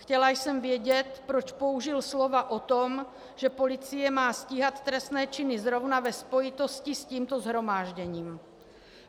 Chtěla jsem vědět, proč použil slova o tom, že policie má stíhat trestné činy, zrovna ve spojitosti s tímto shromážděním.